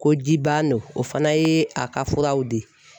Ko ji ban don o fana ye a ka furaw di.